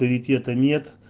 торитета нет